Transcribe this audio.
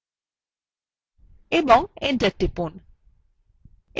এবং enter টিপুন